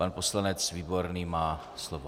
Pan poslanec Výborný má slovo.